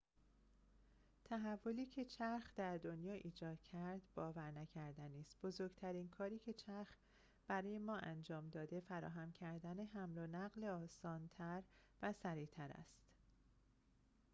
تحولی که چرخ در دنیا ایجاد کرد باورنکردنی است بزرگترین کاری که چرخ برای ما انجام داده فراهم کردن حمل و نقل آسان‌تر و سریع‌تر است